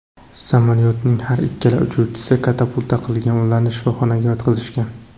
Samolyotning har ikkala uchuvchisi katapulta qilgan, ularni shifoxonaga yotqizishgan.